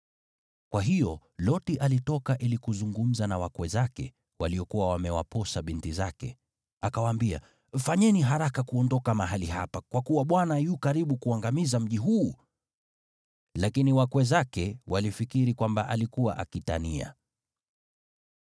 Kwa hiyo Loti alitoka ili kuzungumza na wakwe zake, waliokuwa wamewaposa binti zake. Akawaambia, “Fanyeni haraka kuondoka mahali hapa, kwa kuwa Bwana yu karibu kuangamiza mji huu!” Lakini wakwe zake walifikiri kwamba alikuwa akitania.